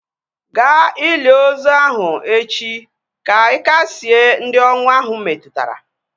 Ga ili ozi ahu echi ka ị kasịe ndị ọnwụ ahu metụtara!